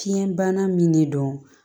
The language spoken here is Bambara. Fiɲɛ bana min de don